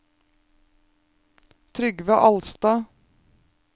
Trygve Alstad